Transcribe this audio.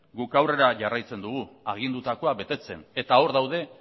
gu aurrera jarraitzen dugu agindutakoa betetzen eta hor daude